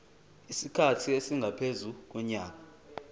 isikhathi esingaphezu konyaka